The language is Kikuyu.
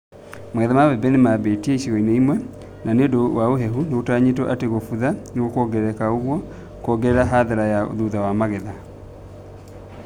Magetha ma mbembe nĩmambĩtie icigo imwe na nĩũndũ wa ũhehu nĩgũtanyĩtwo atĩ gũbutha nĩgũkuongerereka ũguo kuongerere hathara ya thutha wa magetha